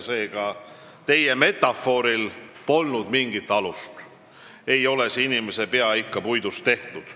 Seega, teie metafooril polnud mingit alust – ei ole see inimese pea ikka puidust tehtud.